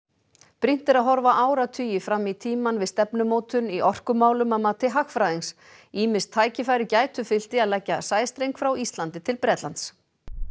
brýnt er að horfa áratugi fram í tímann við stefnumótun í orkumálum að mati hagfræðings ýmis tækifæri gætu fylgt því að leggja sæstreng frá Íslandi til Bretlands